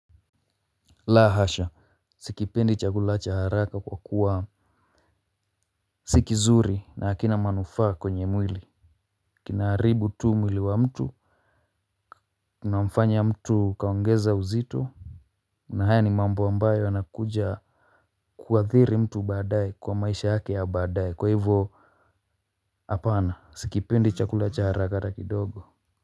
La hasha. Sikipendi chakula cha haraka kwa kuwa sikizuri na hakina manufaa kwenye mwili. Kinaharibu tu mwili wa mtu. Kina mfanya mtu kaongeza uzito. Na haya ni mambo ambayo yanakuja kuathiri mtu baadaye, kwa maisha yake ya badaye, kwa hivyo. Apana sikipendi chakula cha haraka ata kidogo.